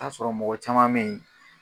a sɔrɔ mɔgɔ caman bɛ ye